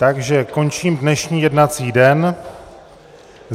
Takže končím dnešní jednací den.